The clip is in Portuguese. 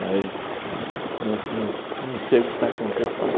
Mas, nos nos não sei o que está acontecendo.